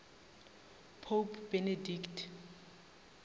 pope benedict